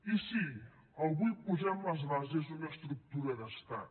i sí avui posem les bases d’una estructura d’estat